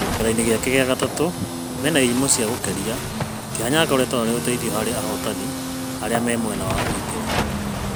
Kĩmerainĩ gĩake kĩa gatatũ mena Irimũ cia Gukeria, Kĩhanya akoretwo arĩ ũteithio harĩ ahotani arĩ mwena wa ũgitĩri.